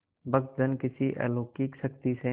भक्तजन किसी अलौकिक शक्ति से